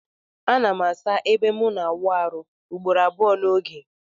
Anam asa ebe mu na awụ arụ ugboro abụọ na oge.